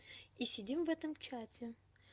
и сидим в этом чате